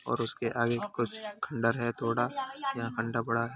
और उसके आगे कुछ खंडर है। थोड़ा जहा अंडा पड़ा है।